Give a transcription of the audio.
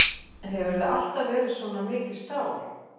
Hefurðu alltaf verið svona mikið stál?